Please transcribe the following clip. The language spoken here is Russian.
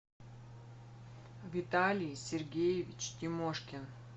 виталий сергеевич тимошкин